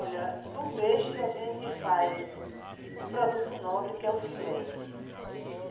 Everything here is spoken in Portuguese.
Olha, do peixe a gente faz o produto nobre que é o filé.